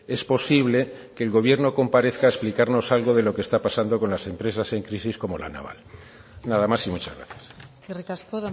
es posible que el gobierno comparezca a explicarnos algo de lo que está pasando con las empresas en crisis como la naval nada más y muchas gracias eskerrik asko